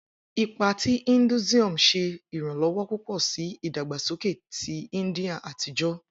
Ipa ti Hinduism ṣe iranlọwọ pupọ si idagbasoke ti India atijọ.